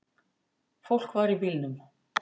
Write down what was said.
Fólk var í bílnum.